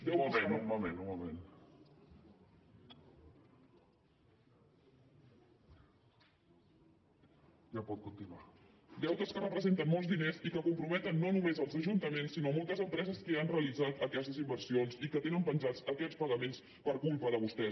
deutes que representen molts diners i que comprometen no només els ajuntaments sinó moltes empreses que han realitzat aquestes inversions i que tenen penjats aquests pagaments per culpa de vostès